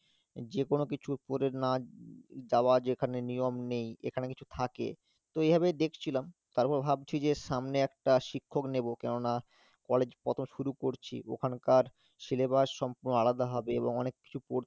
যে কোন কিছু পড়ে না যাওয়া যেখানে নিয়ম নেই এখানে কিছু থাকে তো এই ভাবেই দেখছিলাম তারপর ভাবছি যে সামনে একটা শিক্ষক নেব কেননা college কত শুরু করছি ওখানকার syllabus সম্পূর্ণ আলাদা হবে এবং অনেক কিছু কর~